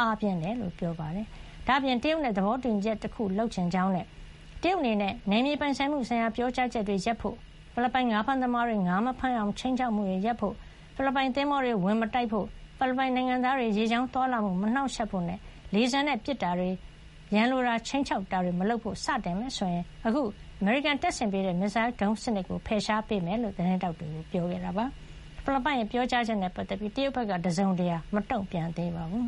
အားပြင်းတာ ဖြစ်ကြောင်း ပြောခဲ့တာပါ။ ဒါ့အပြင် တရုတ်နဲ့ သဘောတူညီချက် တခု လုပ်ချင်ကြောင်းနဲ့ တရုတ်အနေနဲ့ နယ်မြေပိုင်ဆိုင်မှု ဆိုင်ရာ ပြောကြားချက်တွေ ရပ်ပစ်ဖို့၊ ဖိလစ်ပိုင် ငါးဖမ်းသမားတွေ ငါးဖမ်း မရအောင် ခြိမ်းခြောက်မှုတွေ ရပ်ဖို့ ဖိလစ်ပိုင် သင်္ဘောတွေကို ဝင်မတိုက်ဖို့ ဖိလစ်ပိုင် နိုင်ငံသားတွေ ရေကြောင်း သွားလာမှုကို မနှောက်ယှက်ဖို့နဲ့ လေဆာနဲ့ ပစ်ခတ်တာတွေ၊ ရန်လိုတာ ခြိမ်းခြောက်တာတွေ မလုပ်ဖို့ စတင်မယ် ဆိုရင် အခု အမေရိကန်က ဆင်ပေးထားတဲ့ မစ်ဇိုင်းဒုံး စံနစ်ကို ဖယ်ရှား ပေးမှာ ဖြစ်ကြောင်း သတင်းထောက်တွေကို ပြောကြားခဲ့တာပါ။ ဖိလစ်ပိုင်ရဲ့ ပြောကြားချက် နဲ့ ပတ်သက်ပြီး တရုတ်ဘက်က တစုံတရာ မတုန့်ပြန်သေးပါဘူး